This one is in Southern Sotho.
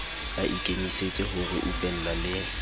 a ikemisetse ho reupella le